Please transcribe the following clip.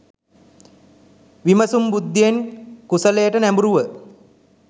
විමසුම් බුද්ධියෙන් කුසලයට නැඹූරුව